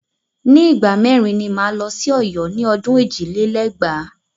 Ní ìgbà mẹ́rin ni máa lọ sí Ọ̀yọ́ ní ọdún ẹ̀jì lé lẹ́gbàá.